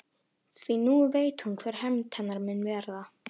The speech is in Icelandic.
Því nú veit hún hver hefnd hennar mun verða.